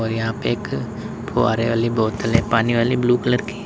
यहां पे एक फुव्वारे वाली बोतल हैं पानी वाली हैं ब्लू कलर की।